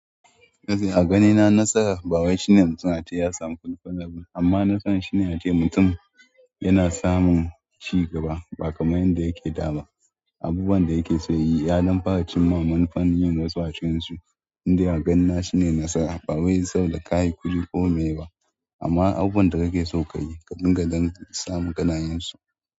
Kashi a ganina nasara ba wai shine mutum ya samu kulfa na abu amma nasara shine yace mutum yana samun cigaba ba kamar yanda yake da ba. Abubuwan da yake so ya yi, ya damfa ra cin ma manufan yin wasu a cikin su. Ni dai ganina shine nasara ba wai saboda ka yi kuɗi ko me ba amma abubuwan da kake so ka yi kadinga ganin samun kanayensu.